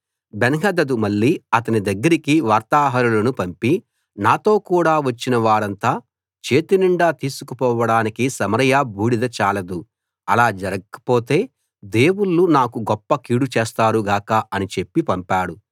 బెన్హదదు మళ్ళీ అతని దగ్గరికి వార్తాహరులను పంపి నాతో కూడా వచ్చిన వారంతా చేతినిండా తీసుకుపోడానికి సమరయ బూడిద చాలదు అలా జరక్కపోతే దేవుళ్ళు నాకు గొప్ప కీడు చేస్తారు గాక అని చెప్పి పంపాడు